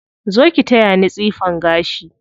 Zo ki taya ni tsifan gashi.